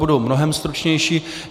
Budu mnohem stručnější.